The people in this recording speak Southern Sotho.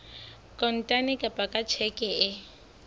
kontane kapa ka tjheke e